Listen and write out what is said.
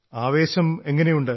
ആവേശം എങ്ങനെയുണ്ട്